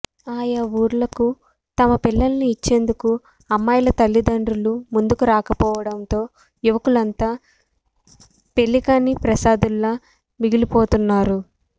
ఆయా ఊర్లకు తమ పిల్లలను ఇచ్చేందుకు అమ్మాయిల తల్లిదండ్రులు ముందుకు రాకపోవడంతో యువకులంతా పెళ్లికాని ప్రసాదుల్లా మిగిలిపోతున్నారు